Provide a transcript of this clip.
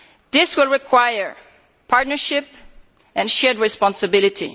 This will require partnership and shared responsibility.